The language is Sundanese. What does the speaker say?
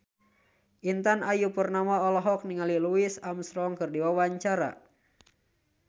Intan Ayu Purnama olohok ningali Louis Armstrong keur diwawancara